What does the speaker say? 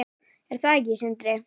Er það ekki Sindri?